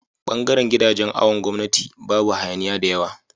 bangaran gidajan awon gwamnati Babu hayaniya da yawa